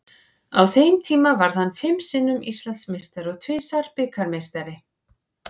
Á þeim tíma varð hann fimm sinnum Íslandsmeistari og tvisvar bikarmeistari.